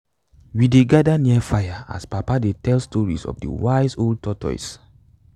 we dey father near fire as papa dey tell stories of de wise old tortoise